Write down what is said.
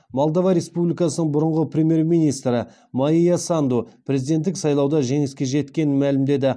молдова республикасының бұрынғы премьер министрі майя санду президенттік сайлауда жеңіске жеткенін мәлімдеді